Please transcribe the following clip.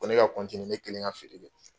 Ko ne ka ne kelen ka feere kɛ.